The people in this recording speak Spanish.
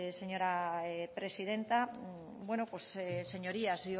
señora presidenta señorías